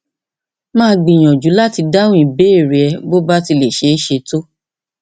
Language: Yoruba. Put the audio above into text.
màá gbìyànjú láti dáhùn ìbéèrè rẹ bó bá ti lè ṣeé ṣe tó